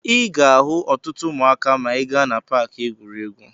Ị ga-ahụ ọtụtụ ụmụaka ma ị gaa na paakị egwuregwu.